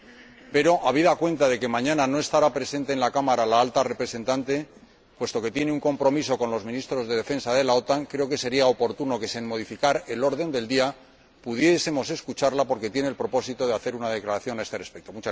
Sin embargo, habida cuenta de que mañana no estará presente en la Cámara la Alta Representante, puesto que tiene un compromiso con los ministros de Defensa de la OTAN, creo que sería oportuno que se modificara el orden del día y pudiésemos escucharla, porque tiene el propósito de hacer una declaración a este respecto.